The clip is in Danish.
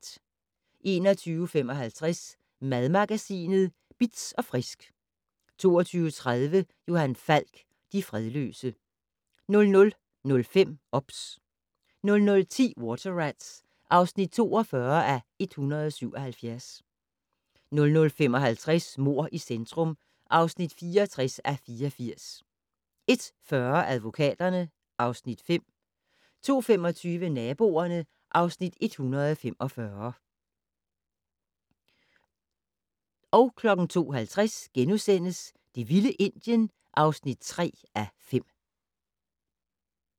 21:55: Madmagasinet Bitz & Frisk 22:30: Johan Falk: De fredløse 00:05: OBS 00:10: Water Rats (42:177) 00:55: Mord i centrum (64:84) 01:40: Advokaterne (Afs. 5) 02:25: Naboerne (Afs. 145) 02:50: Det vilde Indien (3:5)*